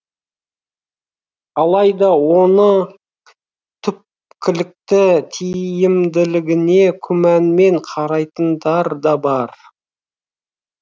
алайда оның түпкілікті тиімділігіне күмәнмен қарайтындар да бар